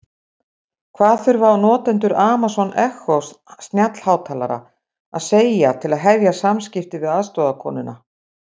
Hvað þurfa notendur Amazon Echo snjallhátalara að segja til að hefja samskipti við aðstoðarkonuna?